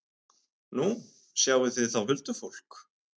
Nú, þið sjáið þá huldufólk?